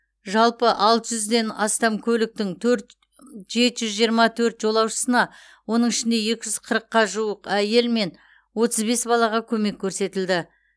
жалпы алты жүзден астам көліктің төрт жеті жүз жиырма төрт жолаушысына оның ішінде екі жүз қырыққа жуық әйел мен отыз бес балаға көмек көрсетілді